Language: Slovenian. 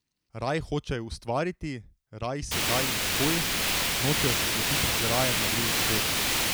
Raj hočejo ustvariti, raj sedaj in takoj, nočejo se slepiti z rajem na drugem svetu.